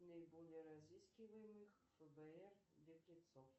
наиболее разыскиваемых фбр беглецов